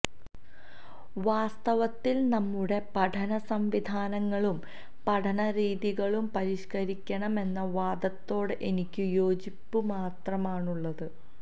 വാസ്തവത്തിൽ നമ്മുടെ പഠനസംവിധാനങ്ങളും പഠനരീതികളും പരിഷ്കരിക്കണം എന്ന വാദത്തോട് എനിക്കും യോജിപ്പ് മാത്രമാണുള്ളത്